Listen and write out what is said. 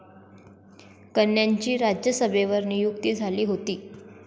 कन्यांची राज्यसभेवर नियुक्ती झाली होती.